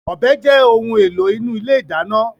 Ọ̀bẹ jẹ́ ohun èlò inú ilé ìdáná.